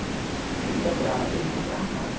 Eu não procurava Deus, não procurava nada.